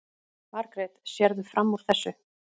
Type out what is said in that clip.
Margrét: Sérðu fram úr þessu?